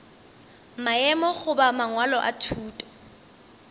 maemo goba mangwalo a thuto